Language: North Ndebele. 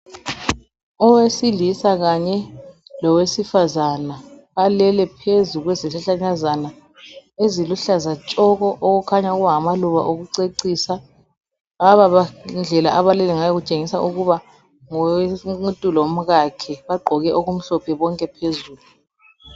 Owesilisa kanye lowesifazana balele phezu kwezihlahlakazana eziluhlaza tshoko okukhanya ukuba ngamaluba okucecisa laba indlela abalele ngayo itshengisa ukuba ngumuntu lomkakhe bagqoke okumhlophe bonke phezulu.